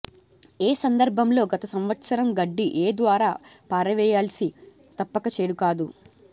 ఏ సందర్భంలో గత సంవత్సరం గడ్డి ఏ ద్వారా పారవేయాల్సి తప్పక చెడు కాదు